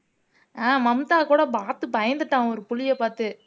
ஆஹ் மம்தா கூட பாத்து பயந்துட்டான் ஒரு புலியை பாத்து